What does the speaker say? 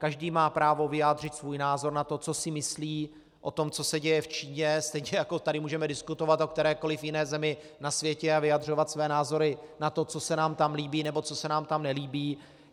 Každý má právo vyjádřit svůj názor na to, co si myslí o tom, co se děje v Číně, stejně jako tady můžeme diskutovat o kterékoliv jiné zemi na světě a vyjadřovat své názory na to, co se nám tam líbí nebo co se nám tam nelíbí.